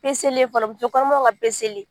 ye fɔlɔ muso kɔnɔmaw ka